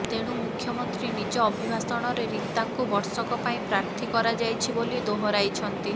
ତେଣୁ ମୁଖ୍ୟମନ୍ତ୍ରୀ ନିଜ ଅଭିଭାଷଣରେ ରୀତାଙ୍କୁ ବର୍ଷକ ପାଇଁ ପ୍ରାର୍ଥୀ କରାଯାଇଛି ବୋଲି ଦୋହରାଇଛନ୍ତି